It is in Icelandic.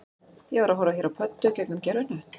Ég var að horfa hér á pöddur gegnum gervihnött